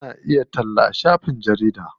Ana iya talla a shafin jarida.